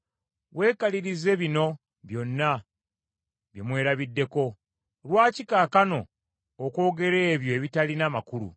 Weekalirize bino byonna bye mwerabiddeko, lwaki kaakano okwogera ebyo ebitalina makulu?